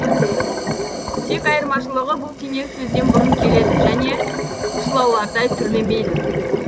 тек айырмашылығы бұл теңеу сөзден бұрын келеді және шылаулардай түрленбейді